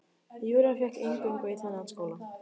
Júra fékk inngöngu í þennan skóla.